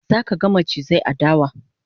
zaka ga macizai a dawa